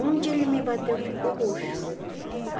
Onde ele me bateu, ficou roxo a